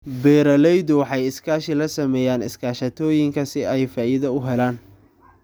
Beeraleydu waxay iskaashi la sameeyaan iskaashatooyinka si ay faa'iido u helaan.